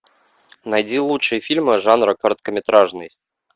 найди лучшие фильмы жанра короткометражный